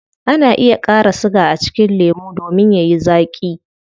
Ana iya kara siga a cikin lemu domin yayi zaaki